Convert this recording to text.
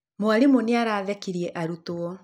Mwarimũ nĩ arathekirie arutwo.